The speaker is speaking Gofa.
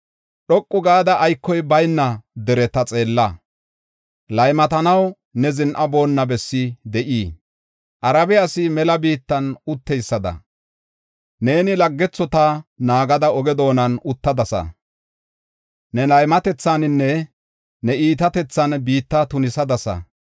Dhoqu gada aykoy bayna dereta xeella. Laymatanaw ne zin7aboona bessi de7ii? Arabe asi mela biittan utteysada, neeni laggethota naagada oge doonan uttadasa. Ne laymatethaninne ne iitatethan biitta tunisadasa.